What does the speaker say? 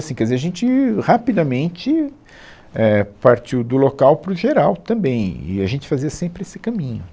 Assim, quer dizer, a gente rapidamente, é, partiu do local para o geral também e a gente fazia sempre esse caminho